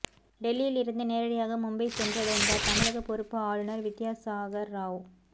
டெல்லியில் இருந்து நேரடியாக மும்பை சென்றடைந்தார் தமிழக பொறுப்பு ஆளுநர் வித்யாசாகர் ராவ்